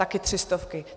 Také tři stovky.